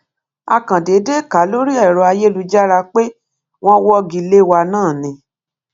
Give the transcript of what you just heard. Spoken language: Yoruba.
a kàn déédé kà á lórí èrò ayélujára pé wọn wọgi lé wa náà ni